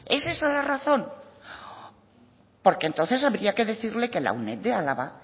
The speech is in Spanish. es esa la razón porque entonces habría que decirle que la uned de álava